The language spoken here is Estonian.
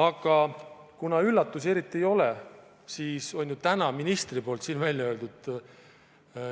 Aga kuna üllatusi eriti ei ole, siis on ju täna ministri siin väljaöeldu